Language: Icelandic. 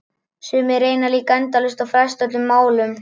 Sumir reyna líka endalaust að fresta öllum málum.